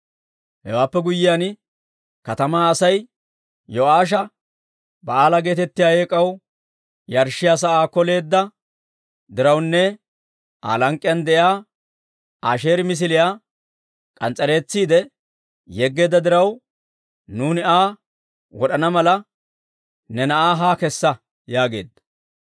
Hewaappe guyyiyaan katamaa Asay Yo'aasha, «Ba'aala geetettiyaa eek'aw yarshshiyaa sa'aa koleedda dirawunne Aa lank'k'iyaan de'iyaa Asheeri misiliyaa k'ans's'eretsiide yeggeedda diraw, nuuni Aa wod'ana mala, ne na'aa haa kessa» yaageedda.